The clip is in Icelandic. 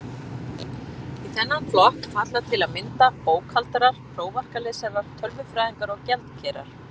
Í þennan flokk falla til að mynda bókhaldarar, prófarkalesarar, tölfræðingar og gjaldkerar.